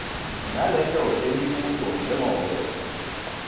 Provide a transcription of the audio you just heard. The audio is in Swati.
naleto temibuto njengobe